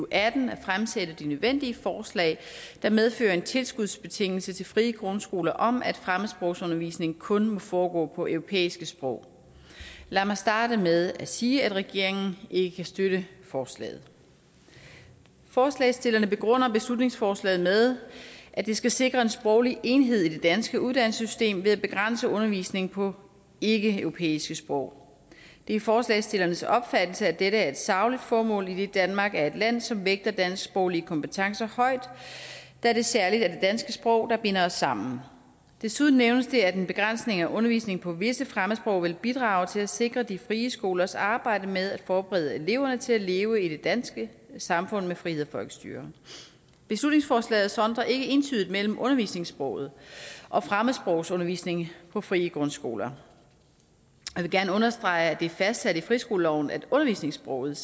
atten at fremsætte de nødvendige forslag der medfører en tilskudsbetingelse til frie grundskoler om at fremmedsprogsundervisning kun må foregå på europæiske sprog lad mig starte med at sige at regeringen ikke kan støtte forslaget forslagsstillerne begrunder beslutningsforslaget med at det skal sikre en sproglig enhed i det danske uddannelsessystem ved at begrænse undervisningen på ikkeeuropæiske sprog det er forslagsstillernes opfattelse at dette er et sagligt formål idet danmark er et land som vægter dansksproglige kompetencer højt da det særlig er det danske sprog der binder os sammen desuden nævnes det at en begrænsning af undervisningen på visse fremmedsprog vil bidrage til at sikre de frie skolers arbejde med at forberede eleverne til at leve i det danske samfund med frihed og folkestyre beslutningsforslaget sondrer ikke entydigt mellem undervisningssproget og fremmedsprogsundervisning på frie grundskoler jeg vil gerne understrege at det er fastsat i friskoleloven at undervisningssproget